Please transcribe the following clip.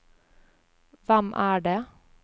hvem er det